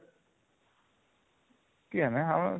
କେଜାଣି